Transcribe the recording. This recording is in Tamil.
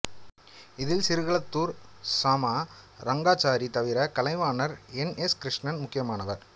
இதில் சிறுகளத்தூர் சாமா ரங்காச்சாரி தவிர கலைவாணர் என் எஸ் கிருஷ்ணன் முக்கியமானவர்